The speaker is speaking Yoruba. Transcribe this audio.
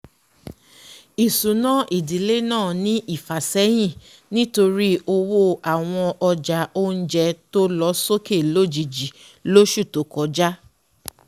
ìsúná ìdílé náà ní ìfàsẹ́yìn nítorí owó àwọn ọjà oúnjẹ tó lọ sókè lójijì lọ́sù tó kọjá